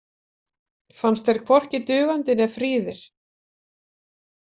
Fannst þeir hvorki dugandi né fríðir.